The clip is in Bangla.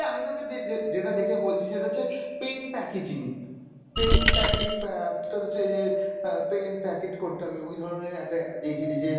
আমি তোকে যে যে~ যেটা দেখে বলছি সেটা হচ্ছে pen packaging pen অ্যাঁ তোর হচ্ছে এই যে আহ pen packet করতে হবে ওই ধরনের একটা ad দিয়েছিলি যে